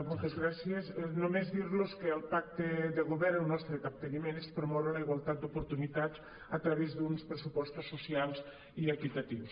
moltes gràcies només dir·los que al pacte de govern el nostre capteniment és pro·moure la igualtat d’oportunitats a través d’uns pressupostos socials i equitatius